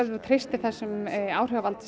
þú treystir þessum áhrifavald